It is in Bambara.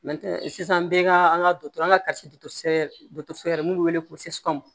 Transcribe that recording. sisan an bɛɛ ka an ka du an ka fɛrɛ minnu bɛ wele ko